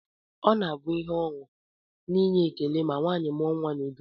Ọ na-abụ ihe ọṅụ na inye ekele ma nwaanyị mụọ nnwa n'udo